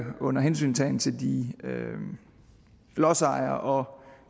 under hensyntagen til lodsejerne og